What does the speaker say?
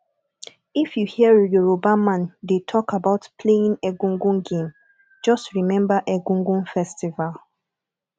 if you hear yoruba man dey talk about playing egungun game just remember egungun festival